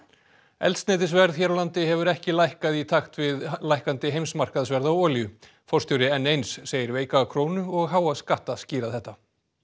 eldsneytisverð hér á landi hefur ekki lækkað í takt við lækkandi heimsmarkaðsverð á olíu forstjóri n eins segir veika krónu og háa skatta skýra þetta